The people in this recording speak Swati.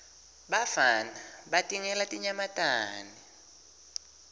bafana batingela tinyamatane